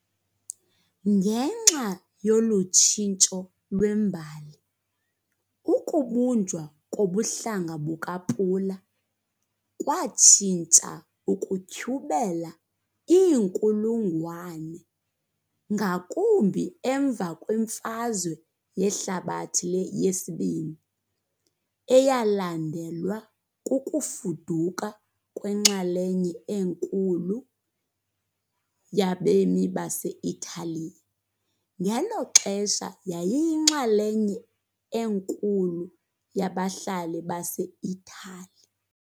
Ngenxa yolu tshintsho lwembali, ukubunjwa kobuhlanga bukaPula kwatshintsha ukutyhubela iinkulungwane, ngakumbi emva kweMfazwe Yehlabathi yesiBini, eyalandelwa kukufuduka kwenxalenye enkulu yabemi base-Italiya, ngelo xesha yayiyinxalenye enkulu yabahlali baseItali.